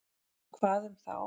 Hvað um þá?